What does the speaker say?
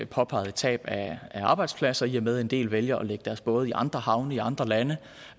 påpeget et tab af arbejdspladser i og med at en del vælger at lægge deres både i andre havne i andre lande